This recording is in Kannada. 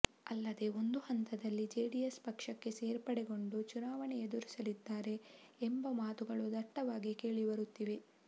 ಅಲ್ಲದೆ ಒಂದು ಹಂತದಲ್ಲಿ ಜೆಡಿಎಸ್ ಪಕ್ಷಕ್ಕೆ ಸೇರ್ಪಡೆಗೊಂಡು ಚುನಾವಣೆ ಎದುರಿಸಲಿದ್ದಾರೆ ಎಂಬ ಮಾತುಗಳು ದಟ್ಟವಾಗಿ ಕೇಳಿಬರುತ್ತಿವೆ